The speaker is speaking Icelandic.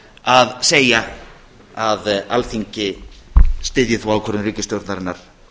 að segja að alþingi styðji þá ákvörðun ríkisstjórnarinnar